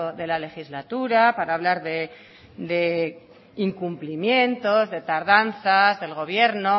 de la legislatura para hablar de incumplimientos de tardanza del gobierno